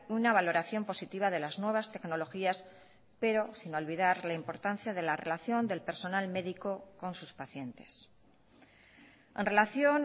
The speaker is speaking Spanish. una valoración positiva de las nuevas tecnologías pero sin olvidar la importancia de la relación del personal médico con sus pacientes en relación